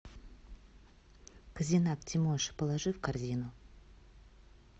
козинак тимоша положи в корзину